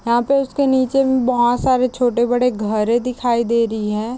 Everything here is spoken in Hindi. यहाँ पे उसके नीचे में बहोत सारे छोटे-बड़े घर दिखाई दे रही है।